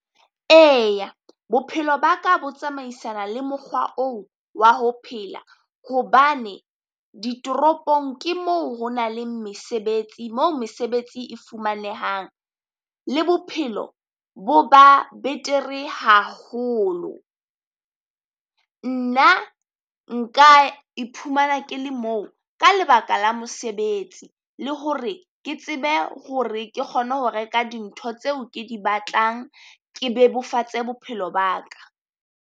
Eya bophelo ba ka bo tsamaisana le mokgwa oo wa ho phela, hobane ditoropong ke moo ho na leng mesebetsi, moo mesebetsi e fumanehang le bophelo bo ba betere haholo. Nna nka iphumana ke le moo ka lebaka la mosebetsi, le hore ke tsebe hore ke kgone ho reka dintho tseo ke di batlang ke bebofatse bophelo ba ka.